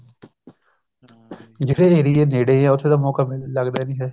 ਜਿਹੜੇ area ਨੇੜੇ ਆ ਉੱਥੇ ਤਾਂ ਮੋਕਾ ਲੱਗਦਾ ਨੀ ਹੈ